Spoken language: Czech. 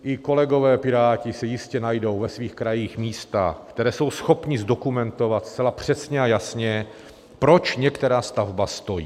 I kolegové Piráti si jistě najdou ve svých krajích místa, která jsou schopni zdokumentovat zcela přesně a jasně, proč některá stavba stojí.